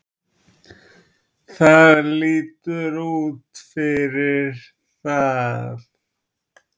Það lítur út fyrir það